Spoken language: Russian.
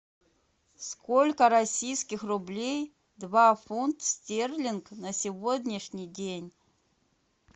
сколько российских рублей два фунт стерлинг на сегодняшний день